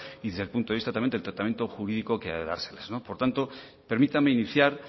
y desde el punto de vista también del tratamiento jurídico que ha de dárselas por tanto permítame iniciar